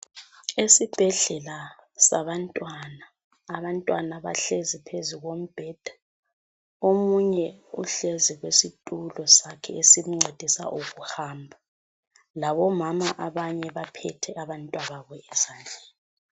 Esibhedlela sabantwana, abantwana bahlezi phezulu kombheda. Omunye uhlezi kwezitulo sakhe esimncedisa ukuhamba. Labomama baphethe abantwana babo ezandleni.